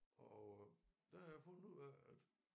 Og øh der har jeg fundet ud af at